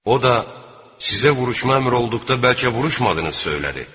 O da sizə vuruşmaq əmri olduqda bəlkə vuruşmadınız söylədi.